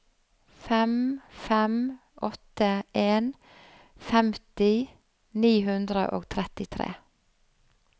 fem fem åtte en femti ni hundre og trettitre